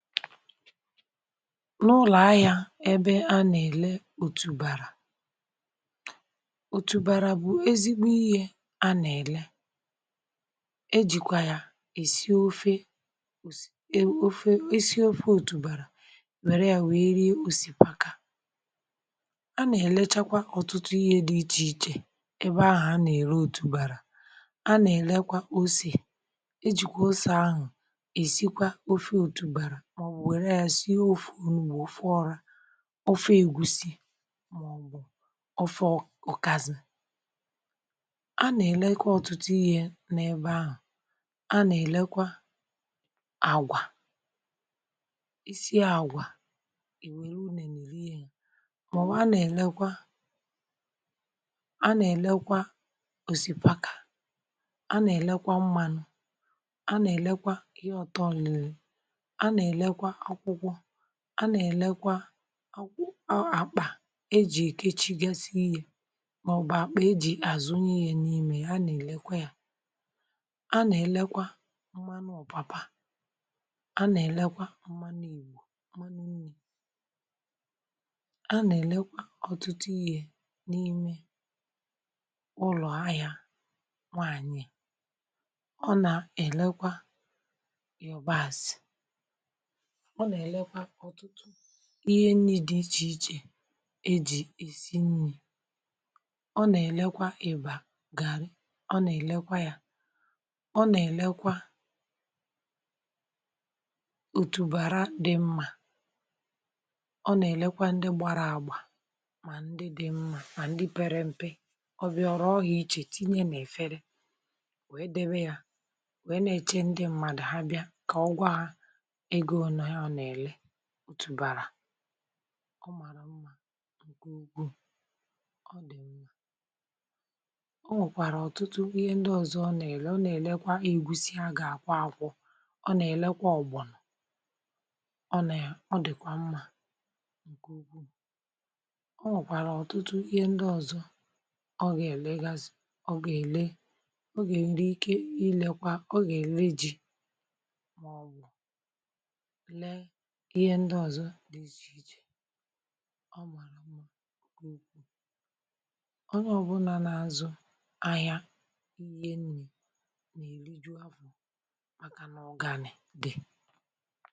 n’ụlọ̀ ahịa ebe a nà-èle òtùbàrà, òtùbàrà bụ̀ ezigbo ihe a nà-èle. e jìkwa ya èsi ofe ofe. esi ofe òtùbàrà, wèrè ya, wèe rie òsìkàpà. a nà-èlechakwà ọ̀tụtụ ihe dị iche iche ebe ahụ̀ a nà-ère òtùbàrà. a nà-èlekwa ọ̀sè, e jìkwa ọ̀sè ahụ̀ esi kwa ofe ọrȧ, ofe ègúsì um, maọ̀bụ̀ ofe ọkàzì. a nà-èlekwà ọ̀tùtù ihe n’ebe ahụ̀. a nà-èlekwa àgwà isi àgwà. ì wèrè unù um, maọ̀bụ̀ a nà-èlekwa. a nà-èlekwa òsìkàpà, a nà-èlekwa m̀mánụ̄, a nà-èlekwa ihe ọ̀tọ̀ nli. a nà-èlekwa ọ̀àkpà e jì kechigasi ihe, mà ọ̀ bụ̀ àkpà e jì àzụnyè ya. n’ímē, a nà-èlekwa ya. a nà-èlekwa m̀mánụ̄ ọ̀pàpà, a nà-èlekwa m̀mánụ̄ Ìgbò, m̀mánụ̄ nri. a nà-èlekwa ọ̀tùtù ihe n’ime ụlọ̀ ahịa. nwáanyị̀ ọ nà-èlekwa yabàs, ọ̀ nà-èlekwa ihe nni dị iche iche e jì èsi nni. ọ̀ nà-èlekwa ìbà gàrì, ọ̀ nà-èlekwa yà, ọ̀ nà-èlekwa òtùbàrà dị mmà. ọ̀ nà-èlekwa ndị gbara àgbà, mà ndị dị mmà, mà ndị pèrè mpe. ọ̀ bịà, oké ya, iche iche, tìnyè nà-èfere, wèe dẹbè yà, wèe nà-eche ndị mmadụ̀ ha bịà. kà ọ̀gwà, ọ̀ màrà mmà ǹkè ụ́gwù. ọ̀ nà-ẹ̀mmẹ̀. ọ̀ nwèkwàrà ọ̀tùtù ihe ndị ọzọ. ọ̀ nà-èle, ọ̀ nà-èlekwa ègúsì a gà-àkwò àkwò, ọ̀ nà-èlekwa àgòbònò, ọ̀ nà ya. ọ̀ dị̀kwà mmà. ọ̀ nà-ẹ̀kwà ọ̀tùtù ihe ndị ọzọ, ọ̀ gà-èlekwa, ọ̀ gà-èlekwa, ọ̀ gà-èleji ihe ndị ọzọ dị iche iche. ọ̀ màrà m̀dá ụ́kwù. onye ọ̀bụ̀nà um nà-azụ̀ ahịa ihe nni, na-erì juàfọ̀, màkà nà ọ̀ gànì dị.